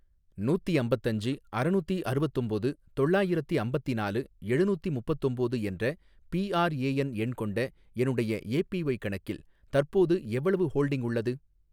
நூத்தி அம்பத்தஞ்சு அறநூத்தி அறுவத்தொம்போது தொள்ளாயிரத்தி அம்பத்திநாலு எழுநூத்தி முப்பத்தொம்போது என்ற பிஆர்ஏஎன் எண் கொண்ட என்னுடைய ஏபிஒய் கணக்கில் தற்போது எவ்வளவு ஹோல்டிங் உள்ளது?